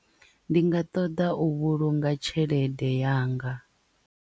Ndi nga ṱoḓa u vhulunga tshelede yanga.